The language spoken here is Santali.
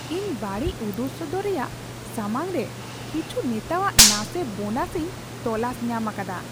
ᱤᱧ ᱵᱟᱹᱲᱤᱡ ᱩᱫᱩᱜ ᱥᱚᱫᱚᱨ ᱨᱮᱭᱟᱜ ᱥᱟᱢᱟᱝ ᱨᱮ ᱠᱤᱪᱷᱩ ᱱᱮᱛᱟᱣᱟᱜ ᱱᱟᱥᱮ ᱵᱳᱱᱟᱥ ᱤᱧ ᱛᱚᱞᱟᱥ ᱧᱟᱢ ᱟᱠᱟᱫᱟ ᱾